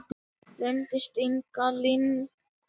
Gleymdist einhvern veginn.